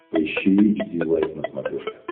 поищи эйч ди лайф на смотрешке